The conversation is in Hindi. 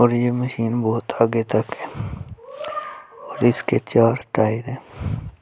और ये मशीन बहुत आगे तक है और सके चार टायर है ।